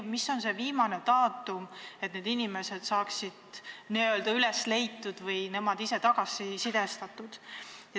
Või mis on see viimane daatum, et need inimesed saaksid n-ö üles leitud või tagasisidestatud?